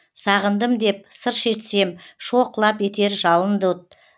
сағындым деп сыр шертсем шоқ лап етер жалынды от